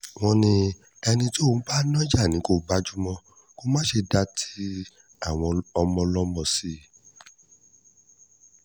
wọ́n ní ẹni tó ń bá nájà ni kó gbájú mọ́ kó má ṣe dá tàwọn ọmọ ọlọ́mọ sí i